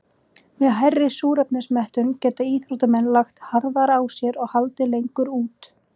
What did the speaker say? Með hærri súrefnismettun geta íþróttamenn lagt harðar að sér og haldið lengur út.